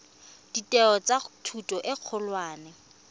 ditheo tsa thuto e kgolwane